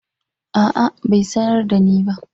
A'a bai sanar da ni ba.